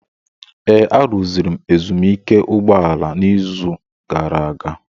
Ee, arụziri m ezumike ụgbọ ala a n'izu gara aga.